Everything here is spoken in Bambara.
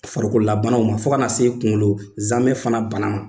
Farikololabanaw ma fo ka na se kunkolo zamɛ fana bana ma